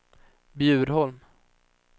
Bjurholm